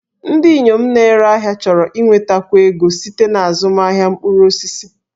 Ndị inyom na-ere ahịa chọrọ inwetakwu ego site na azụmahịa mkpụrụ osisi